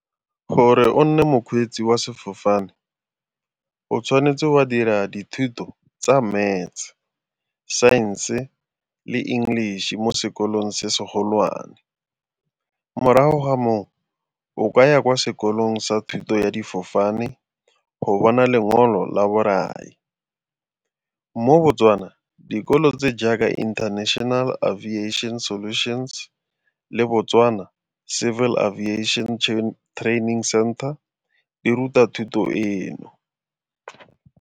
Gore o nne mokgweetsi wa sefofane o tshwanetse wa dira dithuto tsa Maths, Science-e le English-e mo sekolong se se golwane. Morago ga moo o kaya kwa sekolong sa thuto ya difofane go bona lengolo la borai. Mo Botswana, dikolo tse jaaka International Aviation Solutions le Botswana Civil Aviation Training Center di ruta thuto eno.